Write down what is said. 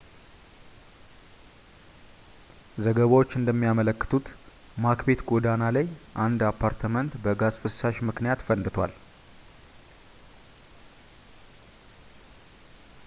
ዘገባዎች እንደሚያመለክቱት ማክቤት ጎዳና ላይ አንድ አፓርትመንት በጋዝ ፍሳሽ ምክንያት ፈንድቷል